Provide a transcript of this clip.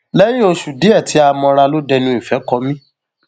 lẹyìn oṣù díẹ tí a mọra ló dẹnu ìfẹ kọ mí